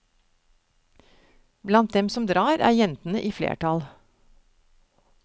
Blant dem som drar er jentene i flertall.